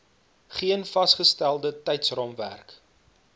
geen vasgestelde tydsraamwerk